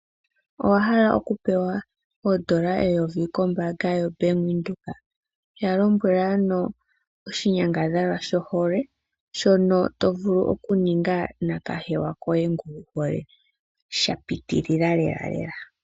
Owahala okupewa oondola eyovi kombaanga yoBank Windhoek? Yalombwela ano oshinyangadhalwa shohole shono tovulu okuninga nakahewa koye nguwuhole shapitilila lelalela.